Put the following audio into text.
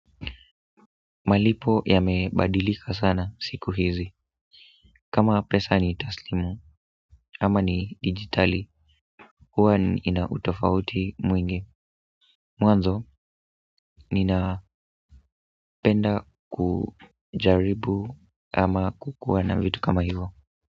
Malipo yamebadilika sana siku hizi kama pesa ni taslimu ama ni digitali huwa ina utofauti mwingi mwanzo ninapenda kujaribu ama kukuwana vitu kama hivo.